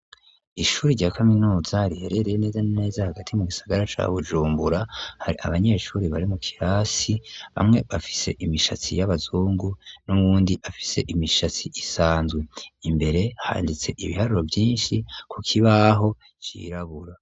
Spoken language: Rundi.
Ishuri rya kaminuza riherereye nezaneza hagati mu gisagara ca bujumbura hari abanyeshuri bari mu kirasi bamwe bafise imishatsi y'abazungu n'uwundi afise imishatsi isanzwe imbere handitse ibiharuro vyinshi ku kibaho cirabura.